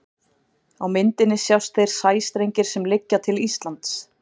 Á myndinni sjást þeir sæstrengir sem liggja til Íslands.